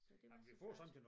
Så det var så flot